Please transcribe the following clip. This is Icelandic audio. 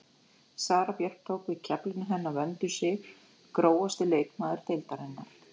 Sara Björk tók við af keflinu hennar Vöndu Sig Grófasti leikmaður deildarinnar?